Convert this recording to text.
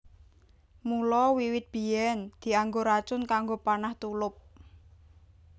Mula wiwit biyèn dianggo racun kanggo panah/tulup